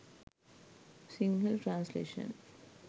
sinhala translation